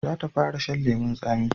Za ta fara shan lemun tsani